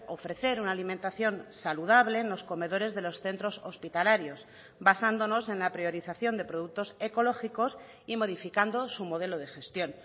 ofrecer una alimentación saludable en los comedores de los centros hospitalarios basándonos en la priorización de productos ecológicos y modificando su modelo de gestión